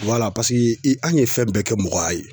i an ye fɛn bɛɛ kɛ mɔgɔya ye